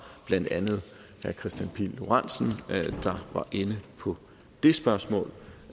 blandt andet herre kristian pihl lorentzen der var inde på det spørgsmål